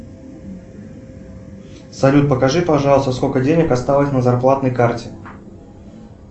салют покажи пожалуйста сколько денег осталось на зарплатной карте